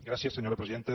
gràcies senyora presidenta